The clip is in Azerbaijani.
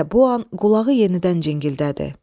Elə bu an qulağı yenidən cingildədi.